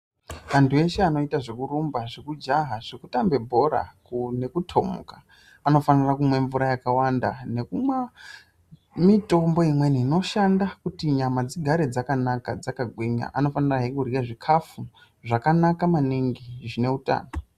Antu eshe anoita zvekurumba zvekujaha zvekutambe bhora Ngekutomuka anofanira kumwa mvura yakawanda ngekunwa mitombo imweni inoita kuti nyama dzigare dzakagwinya inofanira he kurya zvikafu zvakanaka maningi zvine hutano.